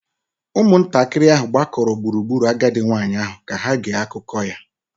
Ụmụntakịrị ahụ gbakọrọ gburugburu agadi nwanyị ahụ ka ha gee akụkọ ya